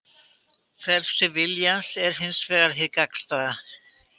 Frelsi viljans er hins vegar hið gagnstæða.